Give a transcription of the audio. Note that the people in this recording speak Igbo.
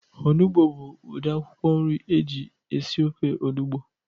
Onugbu bu udi akwụkwọ nri eji esi ofe onugbu